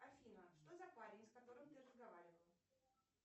афина что за парень с которым ты разговаривала